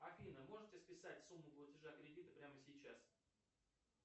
афина можете списать сумму платежа кредита прямо сейчас